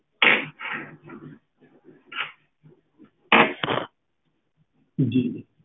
ਜੀ